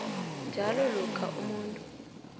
njalo lokha umuntu